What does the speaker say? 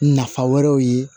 Nafa wɛrɛw ye